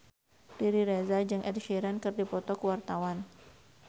Riri Reza jeung Ed Sheeran keur dipoto ku wartawan